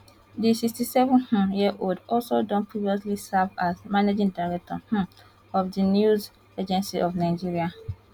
di 67 um year old also don previously serve as managing director um of di news agency of nigeria